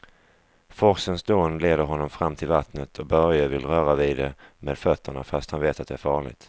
Forsens dån leder honom fram till vattnet och Börje vill röra vid det med fötterna, fast han vet att det är farligt.